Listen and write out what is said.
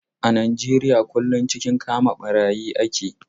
A Nijeriya kullum cikin kama ɓarayi ake.